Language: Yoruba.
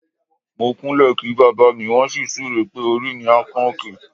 Mo kúnlẹ̀ kí bàbá mi, wọ́n sì súre pé "orí mi á kan òkè".